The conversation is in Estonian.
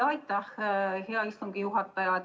Aitäh, hea istungi juhataja!